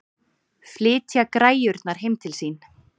Flytja græjurnar heim til sín?